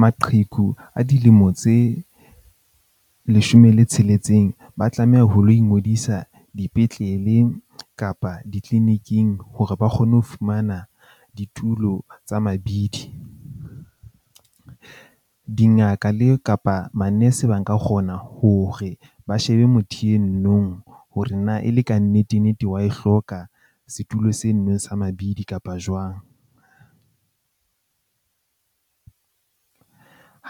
Maqheku a dilemo tse leshome le tsheletseng ba tlameha ho lo ingodisa dipetlele kapa di-clinic-ing hore ba kgone ho fumana ditulo tsa mabidi. Dingaka le kapa manese ba nka kgona hore ba shebe motho e no nong hore na e le kannete nnete wa e hloka setulo se nneng sa mabidi kapa jwang.